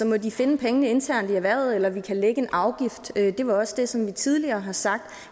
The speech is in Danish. må de finde pengene internt i erhvervet eller vi kan lægge en afgift det var også det som vi tidligere har sagt